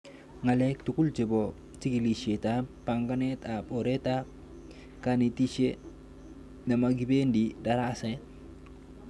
Ng'alek tugul chepo chikilishet ab panganet ab oret ab kenetishe nemakipendi daraset